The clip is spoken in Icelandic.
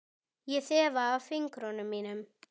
Ég þefa af fingrum mínum.